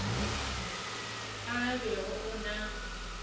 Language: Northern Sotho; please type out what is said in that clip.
ao a bego a na